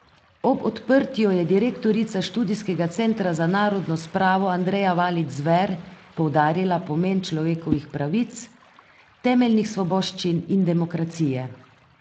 Ob odprtju je direktorica Študijskega centra za narodno spravo Andreja Valič Zver poudarila pomen človekovih pravic, temeljnih svoboščin in demokracije.